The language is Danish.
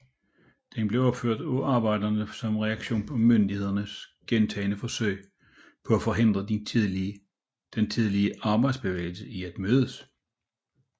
Den blev opført af arbejderne som reaktion på myndighedernes gentagne forsøg på at forhindre den tidlige arbejderbevægelse i at mødes